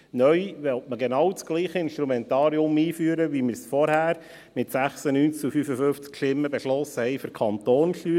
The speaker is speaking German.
Neu will man genau dasselbe Instrumentarium einführen, wie wir es zuvor, mit 96 zu 55 Stimmen, für die Kantonssteuer beschlossen haben;